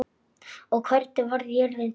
og Hvernig varð jörðin til?